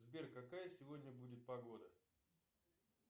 сбер какая сегодня будет погода